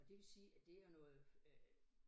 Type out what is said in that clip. Og det vil sige at det er noget øh